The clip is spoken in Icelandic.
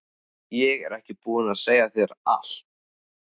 Ég er ekki búin að segja þér allt!